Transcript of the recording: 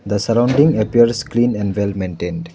The sorrounding appears clean and well maintained.